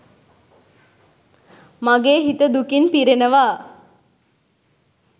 මගේ හිත දුකින් පිරෙනවා.